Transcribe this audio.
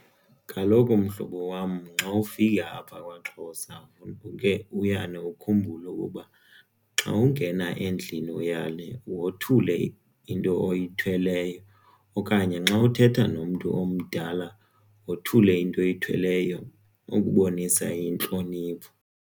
Kaloku mhlobo wam, nxawufika apha kwaXhosa uke uyane ukhumbule ukuba xa ungena endlini uyale wothule into oyithweleyo okanye nxa uthetha nomntu omdala wothule into oyithweleyo ukubonisa intlonipho.